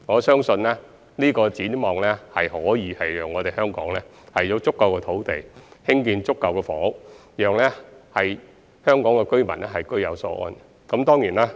相信這個展望可讓香港擁有足夠土地興建充足房屋，讓香港市民居有所安。